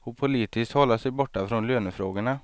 och politiskt hålla sig borta från lönefrågorna.